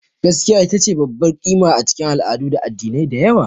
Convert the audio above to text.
Gaskiya ita ce babbar ƙima a cikin al'adu da addinai da yawa.